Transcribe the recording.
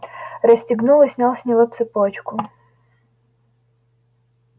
расстегнул и снял с него цепочку